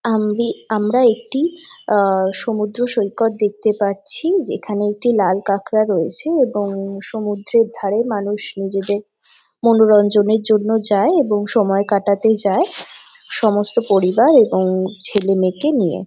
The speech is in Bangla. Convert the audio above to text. আম্বি আমরা একটি আ সমুদ্র সৈকত দেখতে পাচ্ছি যেখানে একটি লাল কাঁকড়া রয়েছে এবং সমুদ্রের ধারে মানুষ নিজেদের মনোরঞ্জনের জন্য যায় এবং সময় কাটাতে যায় সমস্ত পরিবার এবং ছেলে-মেয়েকে নিয়ে।